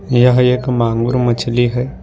यह एक मांगुर मछली है।